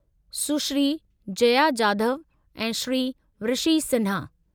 सुश्री जया जाधव ऐं श्री ऋषि सिन्हा।